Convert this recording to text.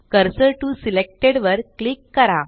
cursor to selected वर click करा